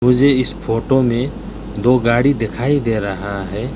मुझे इस फोटो में दो गाड़ी दिखाई दे रहा है।